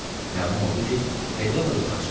Məlum oldu ki, Fedella yoxa çıxıb.